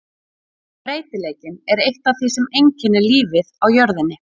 Breytileikinn er eitt af því sem einkennir lífið á jörðinni.